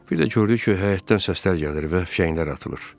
Bir də gördü ki, həyətdən səslər gəlir və fişənglər atılır.